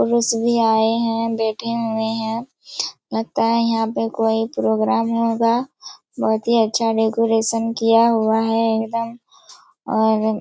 पड़ोसी भी आए है बैठे हुए है लगता है यहाँ पे कोई प्रोग्राम होगा बहुत ही अच्छा डेकोरेशन किया हुआ है एकदम और --